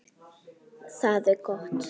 Það er gott